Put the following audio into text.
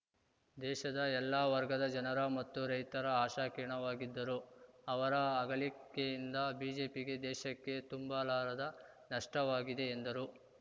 ದೇಶದ ಎಲ್ಲಾ ವರ್ಗದ ಜನರ ಮತ್ತು ರೈತರ ಆಶಾಕಿರಣವಾಗಿದ್ದರು ಅವರ ಅಗಲಿಕೆಯಿಂದ ಬಿಜೆಪಿಗೆ ದೇಶಕ್ಕೆ ತುಂಬಲಾರದ ನಷ್ಟವಾಗಿದೆ ಎಂದರು